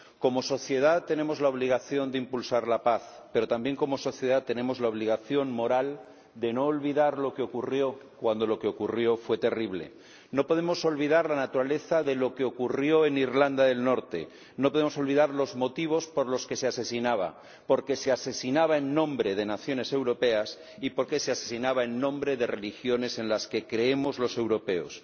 Como sociedad, tenemos la obligación de impulsar la paz, pero también como sociedad tenemos la obligación moral de no olvidar lo que ocurrió cuando lo que ocurrió fue terrible. No podemos olvidar la naturaleza de lo que ocurrió en Irlanda del Norte. No podemos olvidar los motivos por los que se asesinaba, porque se asesinaba en nombre de naciones europeas y porque se asesinaba en nombre de religiones en las que creemos los europeos.